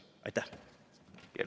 Aitäh!